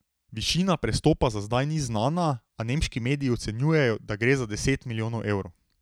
Višina prestopa za zdaj ni znana, a nemški mediji ocenjujejo, da gre za deset milijonov evrov.